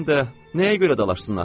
Həm də nəyə görə dalaşmışıq axı?